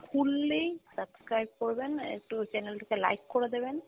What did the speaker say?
খুললেই subscribe করবেন, একটু channel টিকে like করে দিবেন